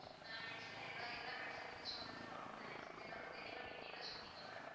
ஆஹ் medicine எல்லாம் எல்லா medicine பத்தியும் சொன்னதுக்கு ரொம்ப thanks எல்லாமே தெளிவா detail ஆ சொன்னீங்க mam